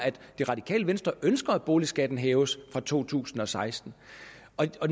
det radikale venstre ønsker at boligskatten hæves fra to tusind og seksten